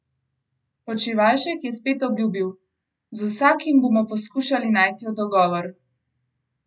Počivalšek je spet obljubil: "Z vsakim bomo poskušali najti dogovor.